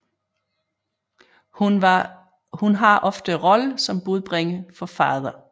Hun har ofte rollen som budbringer for Father